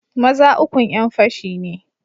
Maza ukun yanfashi ne.